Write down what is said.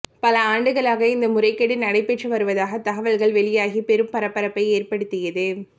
பல ஆண்டுகளாக இந்த முறைகேடு நடைபெற்று வருவதாக தகவல்கள் வெளியாகி பெரும் பரபரப்பை ஏற்படுத்தியது